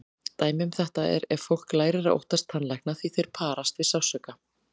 Dæmi um þetta er ef fólk lærir að óttast tannlækna því þeir parast við sársauka.